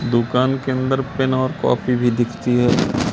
दुकान के अंदर पेन और कॉपी भी दिखती है।